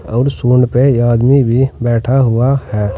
और सूंड पे यह आदमी भी बैठा हुआ है।